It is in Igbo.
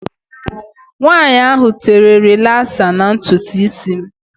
Nwaanyi ahụ tere rilasa na ntutu isi m.